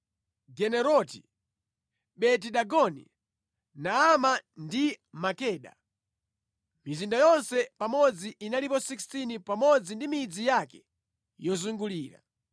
Gederoti, Beti-Dagoni, Naama ndi Makeda. Mizinda yonse pamodzi inalipo 16 pamodzi ndi midzi yake yozungulira.